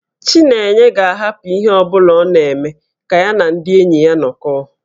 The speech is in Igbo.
Chinenye ga-ahapụ ihe ọ bụla ọ na-eme ka ya na ndị enyi ya nọkọọ